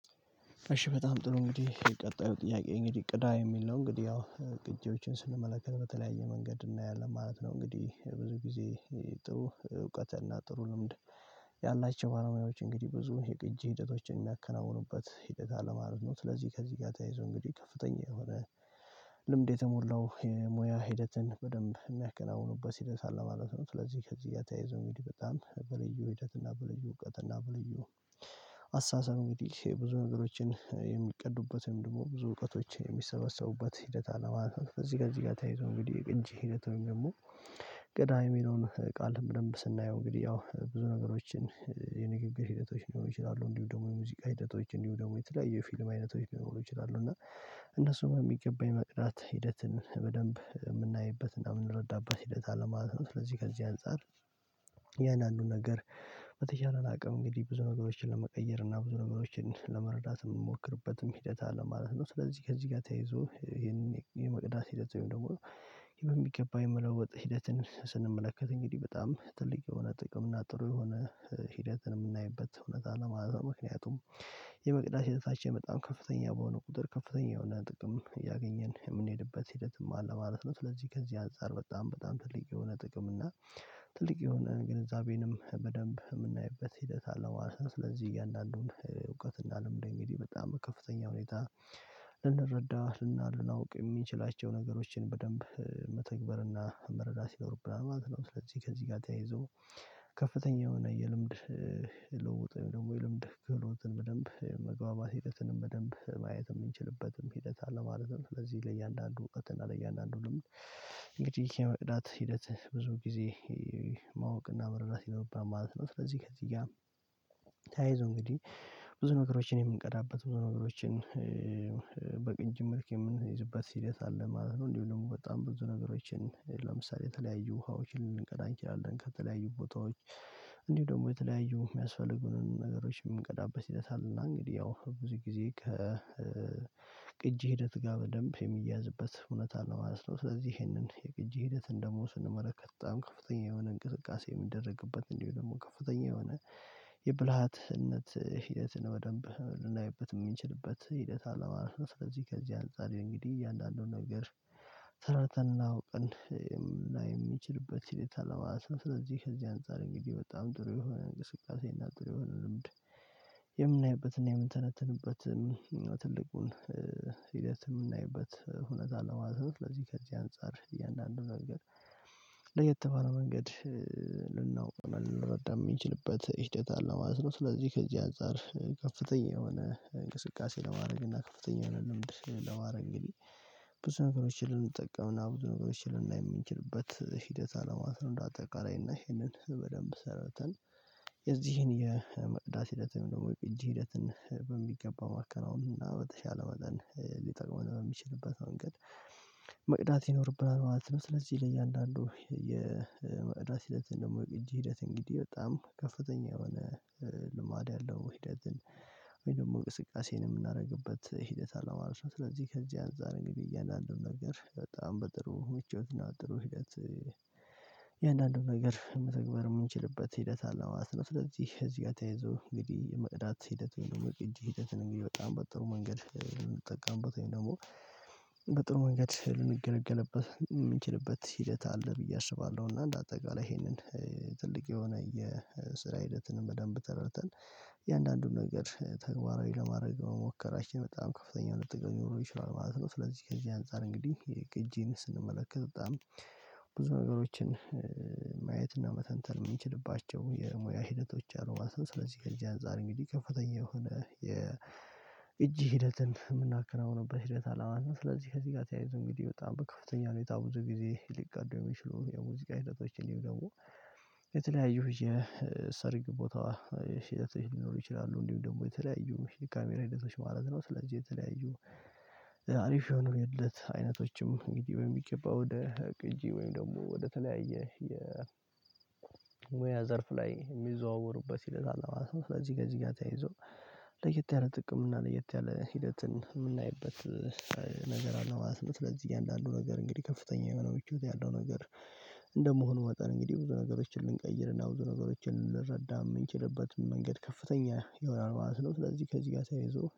እሺ በጣም ጥሩ እንግዲህ ቀጣዩ ጥያቄ እንግዲህ ቅዳ የሚል ነው እንግዲህ ያው ቅጂዎችን ስንመለከት በተለያየ መንገድ እናያለን ማለት ነው። እንግዲህ ብዙ ጊዜ ጥሩ እውቀትና ጥሩ ልምድ። ያላቸው ባለሙያዎች እንግዲህ ብዙ የቅጂ ሂደቶችን የሚያከናውኑበት ሂደት አለማለት ነው። ስለዚህ ከዚህ ጋር ተያይዞ እንግዲህ ከፍተኛ የሆነ ልምድ የተሞላው የሙያ ሂደትን በደንብ የሚያከናውኑበት ሂደት አለ ማለት ነው። ስለዚህ ከዚህ ጋር ተያይዘው አንግዲህ በጣም በልዩ ሂደትና በልዩ እውቀትና በልዩ አስተሳሰብ እንግዲህ ብዙ ነገሮችን የሚቀዱበት ወይም ደግሞ ብዙ እውቀቶች የሚሰበሰቡበት ሂደት አለ ማለት ነው። እዚህ ጋር እዚህ ጋር ተይዞ እንግዲህ የቅጂ ሂደት ወይም ደግሞ ቅዳ የሚለውን ቃል በደምብ ስናየው እንግዲህ ያው ብዙ ነገሮችን የንግግር ሂደቶች ሊኖሩ ይችላሉ እንዲሁም ደግሞ የሙዚቃ ሂደቶች እንዲሁም ደግሞ የተለያዩ የፊልም አይነቶች ሊኖሩ ይችላሉ እና እነሱን በሚገባ የመቅዳት ሂደትን በደንብ የምናይበት እና የምንረዳበት ሂደት አለማለት ነው። ስለዚህ ከዚህ አንፃር እያንድአንዱን ነገር በተቻለን አቅም እንግዲህ ብዙ ነገሮችን ለመቀየር እና ብዙ ነገሮችን ለመረዳት እምንሞክርበትም ሂደት አለ ማለት ነው። ስለዚህ ከዚህ ጋር ተይዞ ይሄንን የመቅዳት ሂደት ወይም ደግሞ በሚገባ የመለወጥ ሂደትን ስንመለከት እንግዲህ በጣም ትልቅ የሆነ ጥቅም እና ጥሩ የሆነ ሂደትን የምናይበት እውነት አለ ማለትነው። ምክንያቱም የመቅዳት ሂደታችን በጣም ከፍተኛ በሆነ ቁጥር ከፍተኛ የሆነ ጥቅም እያገኘን የምንሄድበት ሂደትም አለ ማለት ነው። ስለዚህ ከዚህ አንፃር በጣም በጣም ትልቅ የሆነ ጥቅም እና ትልቅ የሆነ ግንዛቤንም በደንብ የምናይበት ሂደት አለ ማለት ነው። ስለዚህ እያንዳንዱን እውቀትና ልምድ እንግዲህ በጣም በከፍተኛ ሁኔታ ልንረዳ ልናውቅ የምንችላቸውን ነገሮችን በደንብ መተግበርና መረዳት ይኖርብናል ማለት ነው። ስለዚህ ከዚህ ጋር ተያይዞ ከፍተኛ የሆነ የልምድ ልውውጦች ወይም ደግሞ የልምድ ክህሎትን በደንብ መግባባት ሂደትንም በደንብ ማየት የምንችልበትም ሂደት አለማለትም። ስለዚህ ለእያንዳንዱ እውቀትና ለእያንዳንዱ ልምድ እንግዲህ የመቅዳት ሂደት ብዙ ጊዜ ማወቅና መረዳት ይኖርብናል ማለት ነው። ስለዚህ ከዚህ ጋር ተያይዞ እንግዲህ ብዙ ነገሮችን የምንቀዳበት ብዙ ነገሮችን በቅጅ መልክ የምንይዝበት ሂደት አለ ማለት ነው። እንዲሁም ደግሞ በጣም ብዙ ነገሮችን ለምሳሌ የተለያዩ ውሃዎችን ልንቀዳ አንችላለን ከተለያዩ ቦታዎች እንዲሁም ደግሞ የተለያዩ የሚያስፈልጉንን ነገሮችን የምንቀዳበት ሂደት አለ። እና እንግዲህ ያው ብዙ ጊዜ ከቅጂ ሂደት ጋር በደንብ የሚያያዝበት ሁነት አለ ማለት ነው። ስለዚህ ይሄንን የቅጂ ሂደትን ደሞ ስንመለከት በጣም ከፍተኛ የሆነ እንቅስቃሴ የሚደረግበት እንዲሁም ደግሞ ከፍተኛ የሆነ የብልሃትነት ሒደትን በደንብ ልናይበት የምንችልበት ሂደት አለ ማለት ነው። ስለዚህ ከዚህ አንፃር እንግዲህ እያንዳንዱን ነገር ተረድተን እና አውቀን እና የምንችልበት ስለዚህ ከዚህ አንፃር እንግዲህ በጣም ጥሩ የሆነ እንቅስቃሴና ጥሩ የሆነ ልምድ የምናይበትና የምንተነተንበትን ትልቁን ሂደት የምናይበት ሁነት አለ ማለት ነው። ስለዚህ ከዚህ አንፃር እያንዳንዱ መንገድ ለየተባለው መንገድ ልናውቀውና ልንረዳ የምንችልበት ሂደት አለ ማለት ነው። ስለዚህ ከዚህ አንፃር ከፍተኛ የሆነ እንቅስቃሴ ለማድረግ እና ከፍተኛ የሆነ ልምድ ለማድረግ እንግዲህ ብዙ ነገሮችን ልንጠቀምና ብዙ ነገሮችን ልናይ የምንችልበት ሂደት አለ ማለት ነው። እንደ አጠቃላይና ይሄንን በደንብ ተረድተን የዚህን የመቅዳት ሂደትን ወይም ደግሞ የቅጂ ሂደትን በሚገባ ማከናወን እና በተሻለ መጠን ሊጠቅመን በሚችልበት መንገድ መቅዳት ይኖርብናል ማለት ነው። ስለዚህ ለእያንዳንዱ የመቅዳት ሂደትን ወይም ደግሞ የቅጂ ሂደት እንግዲህ በጣም ከፍተኛ የሆነ ልማድ ያለው ሂደትን ወይም ደግሞ እንቅስቃሴን የምናደርግበት ሂደት አለማለት ነው። ስለዚህ ከዚህ አንፃር እንግዲህ እያንዳንዱን ነገር በጣም በጥሩ ምቾትና በጥሩ ሂደት የእያንዳንዱን ነገር መተግበር የምንችልበት ሂደት አለማስነፍ። ስለዚህ እዚህ ጋር ተያይዞ እንግዲህ የመቅዳት ሂደት እንደውም እጅ ሂደትን እንግዲህ በጣም በጥሩ መንገድ ልንጠቀምበት ወይም ደግሞ በጥሩ መንገድ ልንገለገልበት የምንችልበት ሂደት አለ ብዬ አስባለሁ። እና አንደ አጠቃላይ ይሄንን ትልቅ የሆነ የስራ ሂደትን በደንብ ተረድተን እያንዳንዱን ነገር ተግባራዊ ለማድረግ መሞከራችን በጣም ከፍተኛ የሆነ ጥቅም ሊኖረው ይችላል ማለት ነው። ስለዚህ ከዚህ አንፃር እንግዲህ የቅጂን ስንመለከት በጣም ብዙ ነገሮችን ማየትና መተንተን የምንችልባቸው የሙያ ሂደቶች አሉ ማለት ነው። ስለዚህ ከዚህ አንፃር እንግዲህ ከፍተኛ የሆነ የቅጅ ሂደትን የምናከናውንበት ሂደት አለ ማለት ነው። ስለዚህ ከዚህ ጋር ተያይዞ እንግዲህ በጣም በከፍተኛ ሁኔታ ብዙ ጊዜ ሊቀዱ የሚችሉ የሙዚቃ ሂደቶች እንዲሁም ደግሞ የተለያዩ የሰርግ ቦታ ሂደቶች ሊኖሩ ይችላሉ እንዲሁም ደግሞ የተለያዩ የካሜራ ሂደቶች ማለት ነው። ስለዚህ የተለያዩ አሪፍ የሆኑ የልደት አይነቶችም እንግዲህ በሚገባ ወደ ቅጂ ወይም ደግሞ ወደተለያየ የሙያ ዘርፍ ላይ የሚዘዋወሩበት ሂደት አለ ማለት ነው። ስለዚህ ከዚህ ጋር ተያይዞ ለየት ያለ ጥቅም እና ለየት ያለ ሂደትን የምናይበት ነገር አለ ማለት ነው። ስለዚህ እያንዳንዱ ነገር እንግዲህ ከፍተኛ የሆነው ምቾት ያለው ነገር እንደመሆኑ መጠን እንግዲህ ብዙ ነገሮችን ልንቀይርና ብዙ ነገሮችን ልንረዳ የምንችልበት መንገድ ከፍተኛ ይሆናል ማለት ነው። ስለዚህ ከዚህ ጋር ሲያይዞ